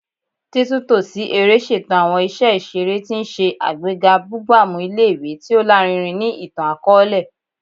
Titunto si ere ṣeto awọn iṣẹ iṣere, ti n ṣe agbega bugbamu ile-iwe ti o larinrin ni itan-akọọlẹ